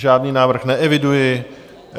Žádný návrh neeviduji.